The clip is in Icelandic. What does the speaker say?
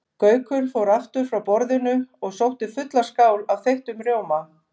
Gaukur fór aftur frá borðinu og sótti fulla skál af þeyttum rjóma.